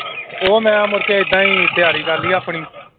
ਉਹ ਮੈਂ ਮੁੜਕੇ ਏਦਾਂ ਹੀ ਤਿਆਰੀ ਕਰ ਲਈ ਆਪਣੀ।